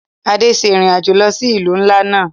Ade ṣe irin ajo lo si ilu nla làná.